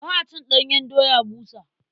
Ba a cin ɗanyen doya busa.